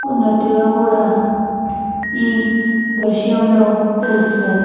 ఉన్నట్టుగా కూడా ఈ దృశ్యంలో తెలుస్తున్నది.